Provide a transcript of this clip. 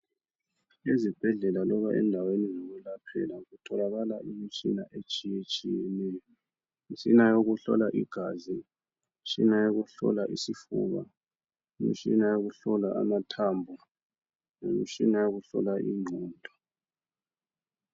Ezibhedlela loba endaweni zokulaphela kutholakala imitshina etshiyetshiyeneyo. Imitshina yokuhlola igazi, imitshina yokuhlola isifuba, imitshina yokuhlola amathambo lemitshina yokuhlola ingqondo.